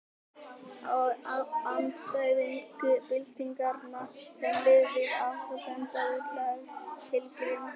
Þá andstæðinga byltingarinnar sem lifðu af átti að senda í útlegð til Grímseyjar.